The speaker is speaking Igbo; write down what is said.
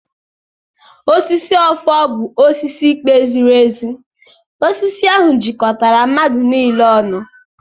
Osisi ọfọ bụ osisi ikpe ziri ezi. Osisi ahụ jikọtara mmadụ niile ọnụ.